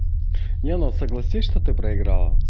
не ну согласись что ты проиграла